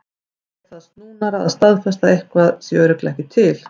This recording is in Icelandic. En það er snúnara að staðfesta að eitthvað sé örugglega ekki til.